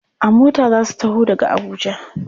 A mota za su taho daga Abuja.